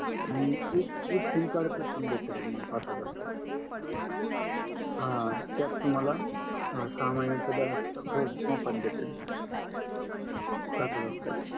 आणि एक एक सिमकार्ड भेटेल तुम्हाला पाच हजार रुपयात अं त्यात तुम्हाला सहा महिण्याच बॅलन्स मोफत भेटेल पाच हजार रुपयात